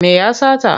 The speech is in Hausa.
Me ya sata?